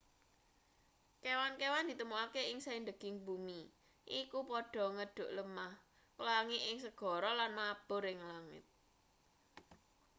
kewan-kewan ditemokake ing saindeging bumi iku padha ngedhuk lemah nglangi ing segara lan mabur ing langit